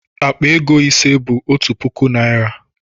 Akpa ego ise bu otu puku naira